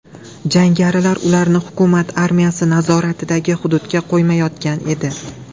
Jangarilar ularni hukumat armiyasi nazoratidagi hududga qo‘ymayotgan edi.